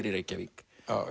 í Reykjavík